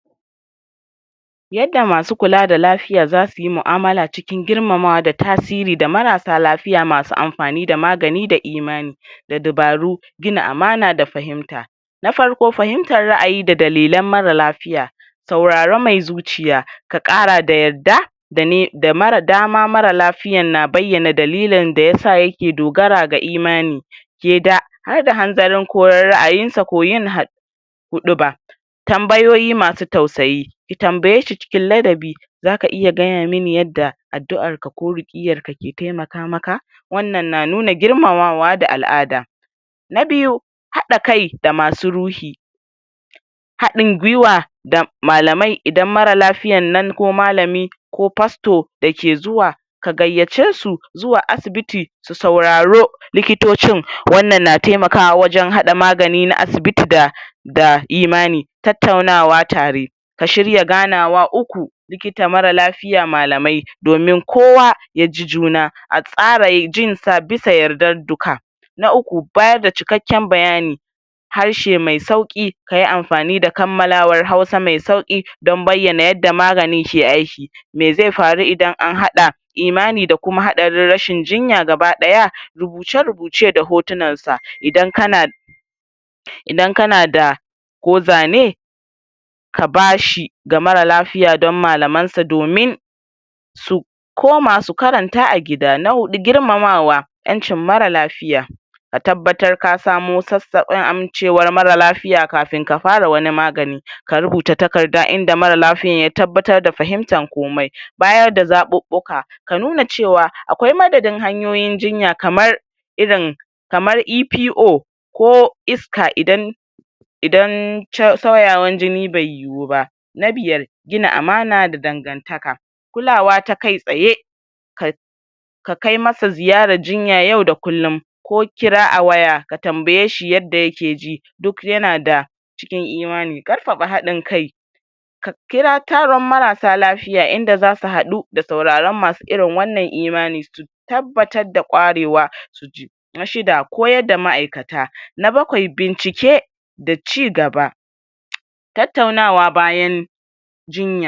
Yadda masu kula da lafiya za suyi mu'amala cikin girmamawa da tasiri da marasa lafiya masu amfani da magani da imani da dabaru gina amana da fahimta na farko fahimtar ra'ayi da dalilan mara lafiya sauraron mai zuciya ka ƙara da yarda da dama mara lafiyan na bayana dalilin daya sa yake dogara ga imani ke da harda hanzarin ko ra'ayinsa ko yin huɗuba tambayoyi masu tausayi ki tambaye shi cikin ladabi zaka iya gaya mun yadda addu'arka ko rukkiyarka ke taimaka maka wannan na nuna girmamawa da al'ada na biyu haɗa kai da masu ruhi haɗin gwiwa da malamai idan mara lafiyan nan ko malami ko fasto dake zuwa ka gayace su zuwa asibiti su sauraro likitocin wannan na taimakawa wajan haɗa maganin na asibiti da imani tattaunawa tare ka shirya ganawa uku likita, mara lafiya, malamai domin kowa ya ji juna a tsara jinsa bisa yardan duka na uku bayar da cikaken bayani harshe mai sauki kayi amfani da kamalawar hausa mai sauki don bayana yadda maganini ke aiki me ze faru idan an haɗa imani da kuma haɗarin rashin jinya gabadaya rubuce-rubuce da hotunansa idan kana idan kana da ko zane ka bashi ga mara lafiya don malamansa domin su koma su karanta a gida na huɗu girmamawa yancin mara lafiya ka tattabatar ka samo sasaɓin amincewar mara lafiya kafin ka fara wani magani ka rubuta takarda inda mara lafiya ya tabatar da fahimtar komai bayar da zaɓuɓuka ka nuna cewa akwai madadin hanyoyin jinya kamar irin kamar EPO ko iska idan idan sauyawan jini bai yu ba na biyar gina amana da dangantaka kulawa ta kai tsaye ka ka kai masa ziyarar jinya na yau da kullum ko kira a waya ka tambaye hi yadda yake ji duk yana da cikin imani ƙarfafa hadin kai ka kira taron marasa lafiya inda zasu haɗu da sauraron masu irin wannan imani su tabattar da kwarewa su ji na shida koyar da ma'aikata, na bakwai bincike da ci gaba tattaunawa bayan jinya.